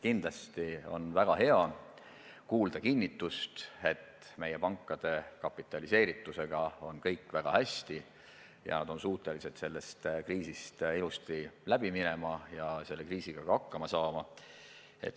Kindlasti on väga hea kuulda kinnitust, et meie pankade kapitaliseeritusega on kõik väga hästi ja nad on suutelised sellest kriisist ilusti läbi minema ja selle kriisiga ka hakkama saada.